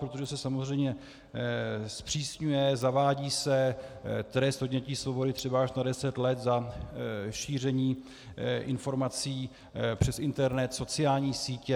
Protože se samozřejmě zpřísňuje, zavádí se trest odnětí svobody třeba až na deset let za šíření informací přes internet, sociální sítě.